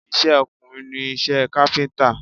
Iṣẹ́ ọkùnrin ni iṣẹ́ káfíńtà